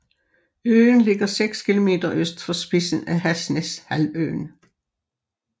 Øen ligger 6 kilometer øst for spidsen af Hasnæs halvøen